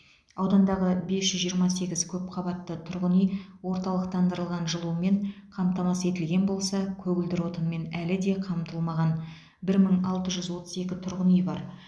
аудандағы бес жүз жиырма сегіз көпқабатты тұрғын үй орталықтандырылған жылумен қамтамасыз етілген болса көгілдір отынмен әлі де қамтылмаған бір мың алты жүз отыз екі тұрғын үй бар